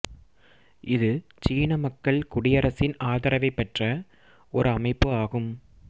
இது சீன மக்கள் குடியரசின் ஆதரவைப் பெற்ற ஓர் அமைப்பு ஆகும்